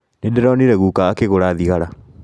Nĩndĩronire guka akĩgũra thigara